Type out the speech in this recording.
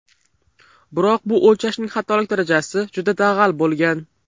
Biroq bu o‘lchashning xatolik darajasi juda dag‘al bo‘lgan.